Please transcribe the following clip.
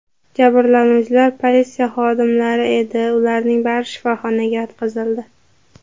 Jabrlanuvchilar politsiya xodimlari edi, ularning bari shifoxonaga yotqizildi.